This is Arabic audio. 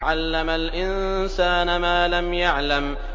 عَلَّمَ الْإِنسَانَ مَا لَمْ يَعْلَمْ